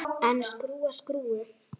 En skrúfa skrúfu?